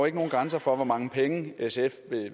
ikke nogen grænser for hvor mange penge sf